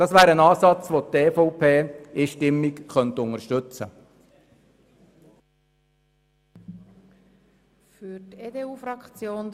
Dies wäre ein Ansatz, den die EVP einstimmig unterstützen könnte.